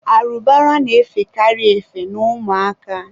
arụbara na-efekarị efe n'ụmụ aka.